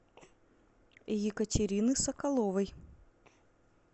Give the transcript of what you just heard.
екатерины соколовой